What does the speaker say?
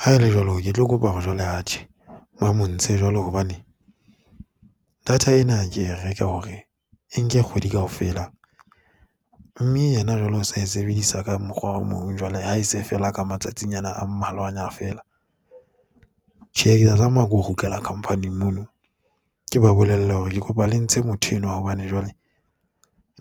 Haele jwalo, ke tlo kopa hore jwale atjhe ba mo ntshe jwale hobane data ena ke e reka hore e nke kgwedi kaofela mme ena jwale o sa e sebedisa ka mokgwa o mong jwale ha e se e fela ka matsatsinyana a mmalwanya feela. Tjhe ke tla tlameha ho kgutlela company mono, ke ba bolelle hore ke kopa le ntshe motho enwa wa hobane jwale